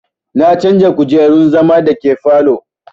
Na canja kujerun zama da ke falow